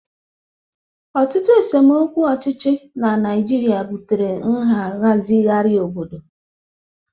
Ọtụtụ esemokwu ọchịchị na Naịjirịa butere nhazigharị obodo.